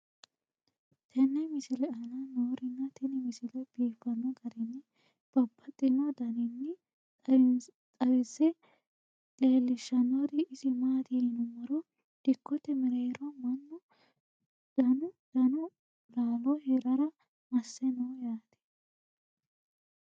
tenne misile aana noorina tini misile biiffanno garinni babaxxinno daniinni xawisse leelishanori isi maati yinummoro dikkotte mereerro mannu danu dannu laallo hirara masse noo yaatte